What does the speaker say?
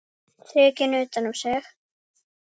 Þrekinn utan um sig.